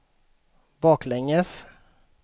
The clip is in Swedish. baklänges